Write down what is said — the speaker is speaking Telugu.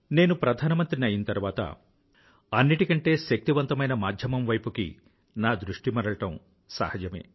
నేను ప్రధానమంత్రిని అయ్యిన తరువాత అన్నిటికంటే శక్తివంతమైన మాధ్యమం వైపుకి నా దృష్టి మరలడం సహజమే